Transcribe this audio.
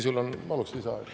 Paluks lisaaega.